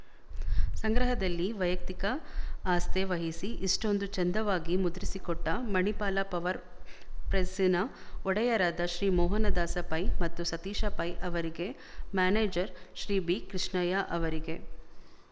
ಸಂಗ್ರಹದಲ್ಲಿ ವೈಯಕ್ತಿಕ ಆಸ್ಥೆ ವಹಿಸಿ ಇಷೆ್ಟೂಂದು ಚೆಂದವಾಗಿ ಮುದ್ರಿಸಿಕೊಟ್ಟ ಮಣಿಪಾಲ ಪವರ್ ಪ್ರೆಸ್ಸಿನ ಒಡೆಯರಾದ ಶ್ರೀ ಮೋಹನದಾಸ ಪೈ ಮತ್ತು ಸತೀಶ ಪೈ ಅವರಿಗೆ ಮ್ಯಾನೇಜರ್ ಶ್ರೀ ಬಿಕೃಷ್ಣಯ್ಯ ಅವರಿಗೆ